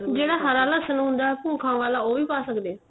ਜਿਹੜਾ ਹਰਾ ਲਸ਼ਣ ਹੁੰਦਾ ਭੁਖਾ ਵਾਲਾ ਉਹ ਵੀ ਪਾ ਸਕਦੇ ਏ